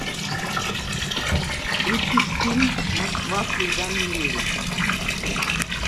включить фильм москва слезам не верит